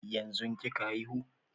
Yanzun kika haihu?